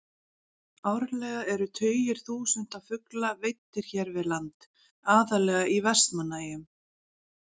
Árlega eru tugir þúsunda fugla veiddir hér við land, aðallega í Vestmannaeyjum.